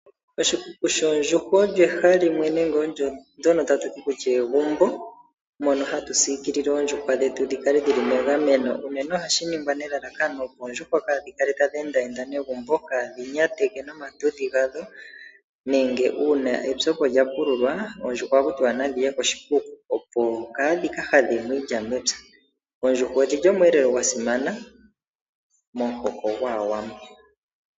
Oshikuku osho ehala moka hatu edhilile oondjuhwa, opo dhi kale dhi li megameno. Unene ohashi ningwa nelalakano lyokukeelela oondjuhwa opo kaadhi kale tadhi endaenda dho tadhi nyateke egumbo noonyata dhadho, nongele opethimbo lyomvula nena ohadhi edhililwa opo kaadhi ka hadhe mo iilya mepya. Dho odhi li wo oshiyelelwa sha simana momuhoko gwAawambo.